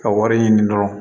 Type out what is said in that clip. Ka wari ɲini dɔrɔn